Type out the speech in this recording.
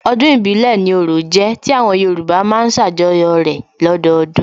Ọdún ìbílẹ̀ ni orò jẹ́ tí àwọn Yorùbá má ń ṣàjọyọ̀ rẹ̀ lọ́dọdún